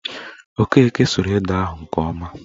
Okeke suru ede ahụ nke ọma